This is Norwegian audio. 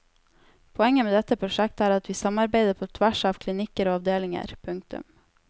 Poenget med dette prosjektet er at vi samarbeider på tvers av klinikker og avdelinger. punktum